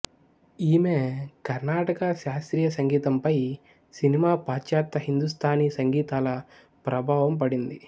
ఈమె కర్ణాటక శాస్త్రీయ సంగీతంపై సినిమా పాశ్చాత్య హిందుస్తానీ సంగీతాల ప్రభావం పడింది